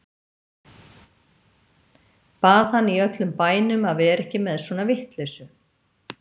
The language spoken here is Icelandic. Bað hann í öllum bænum að vera ekki með svona vitleysu.